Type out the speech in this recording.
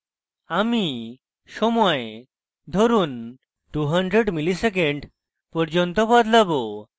আমি সময় ধরুন 200 milliseconds পর্যন্ত বদলাবো